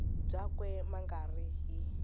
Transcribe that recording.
byakwe ma nga ri hi